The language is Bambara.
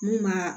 Mun b'a